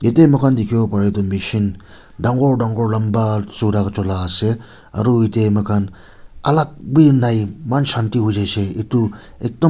ete moi khan dekhi bo pare etu machine dagur dagur lamba choda chula ase aru ete moi khan alag bhi nai eman Shanti hoi jai se.